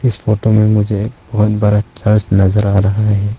इस फोटो में मुझे बहुत बड़ा चर्च नजर आ रहा है।